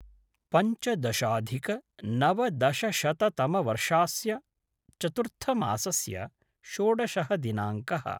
पञ्चदशाधिकनवदशशततमवर्षास्य चतुर्थमासस्य षोडशः दिनाङ्कः